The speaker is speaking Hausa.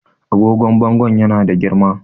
agogon bangon yana da girma